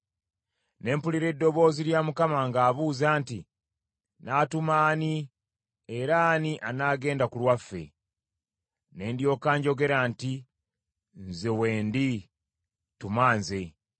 Ne mpulira eddoboozi lya Mukama ng’abuuza nti, “Naatuma ani, era ani anaagenda ku lwaffe?” Ne ndyoka njogera nti, “Nze wendi! Tuma nze!”